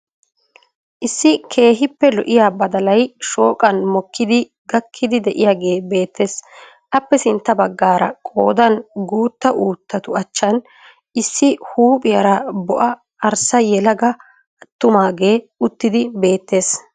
Issi keehiippe lo'iya badalay shooqan mokkidi gakkiidi de'iyaagee beettees. Appe sintta baggaara qoodan guitta uuttatu achhan issi huuphphiyaara bo'a arssa yelaga attumaagee uttidi beettees.